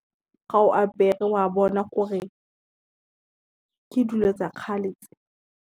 Ga o apere wa bona gore ke dilo tsa kgale tse.